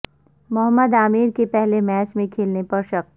محمد عامر کے پہلے میچ میں کھیلنے پر شک